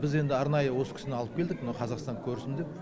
біз енді арнайы осы кісіні алып келдік мынау қазақстанды көрсін деп